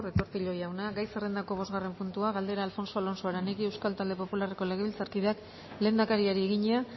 retortillo jauna gai zerrendako bosgarren puntua galdera alfonso alonso aranegui euskal talde popularreko legebiltzarkideak lehendakariari egina